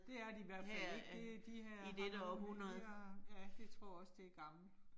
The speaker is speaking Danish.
Det er de i hvert fald ikke. Det de her har her, ja, det tror også det gammelt